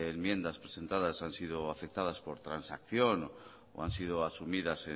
enmiendas presentadas han sido aceptadas por transacción o han sido asumidas